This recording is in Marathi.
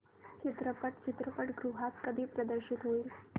चित्रपट चित्रपटगृहात कधी प्रदर्शित होईल